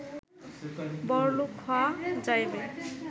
বড়লোক হওয়া যাইবে